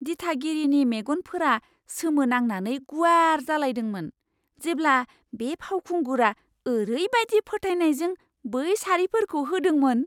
दिथागिरिनि मेगनफोरा सोमोनांनानै गुवार जालायदोंमोन, जेब्ला बे फावखुंगुरा ओरैबायदि फोथायनायजों बै सारिफोरखौ होदोंमोन।